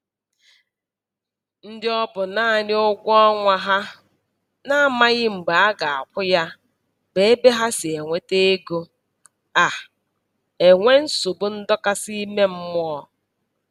Ndị ọbụ naanị ụgwọọnwa ha na-amaghị mgbe a ga-akwụ ya bụ ebe ha si enweta ego a-enwe nsogbu ndọkasị ime mmụọ